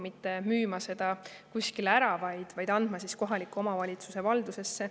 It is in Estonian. Ei soovita kellelegi ära müüa, vaid ollakse valmis andma see kohaliku omavalitsuse valdusesse.